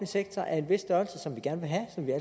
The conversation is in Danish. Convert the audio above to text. sektor af en vis størrelse